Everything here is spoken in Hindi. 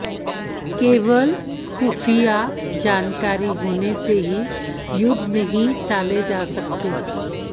केवल खुफिया जानकारी होने से ही युद्ध नहीं टाले जा सकते